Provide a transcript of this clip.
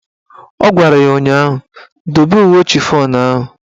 Ọ gwara ya ụnyaahụ "Dobe uwe chifọn ahụ"!